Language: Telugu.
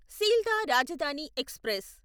సీల్దా రాజధాని ఎక్స్ప్రెస్